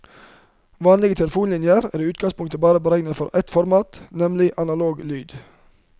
Vanlige telefonlinjer er i utgangspunktet bare beregnet for ett format, nemlig analog lyd.